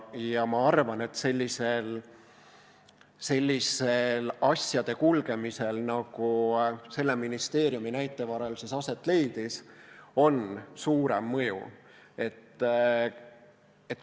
Ma arvan, et sellisel asjade kulgemisel, nagu selle ministeeriumi näite varal aset leidis, on suurem mõju.